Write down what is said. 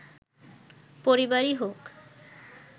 পরিবারই হোক